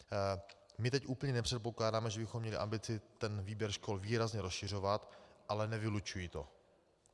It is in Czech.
My teď úplně nepředpokládáme, že bychom měli ambici ten výběr škol výrazně rozšiřovat, ale nevylučuji to.